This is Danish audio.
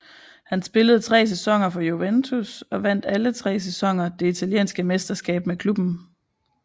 Han spillede tre sæsoner for Juventus og vandt alle tre sæsoner det italienske mesterskab med klubben